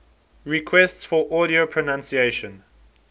requests for audio pronunciation